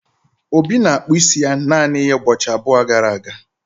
obi na-akpụ isi ya naanị ya ụbọchị abụọ gara aga